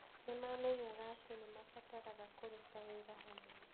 Nĩ maamenyaga atĩ nĩ maabataraga kũruta wĩra hamwe.